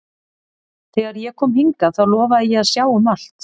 Þegar ég kom hingað þá lofaði ég að sjá um allt.